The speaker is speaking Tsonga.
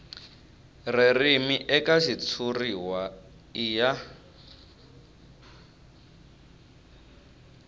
ririmi eka xitshuriwa i ya